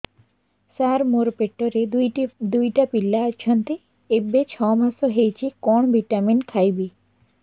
ସାର ମୋର ପେଟରେ ଦୁଇଟି ପିଲା ଅଛନ୍ତି ଏବେ ଛଅ ମାସ ହେଇଛି କଣ ଭିଟାମିନ ଖାଇବି